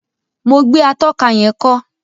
Mo gbé atóka yén kó